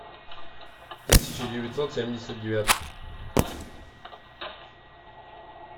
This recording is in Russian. тысяча девятьсот семьдесят девятый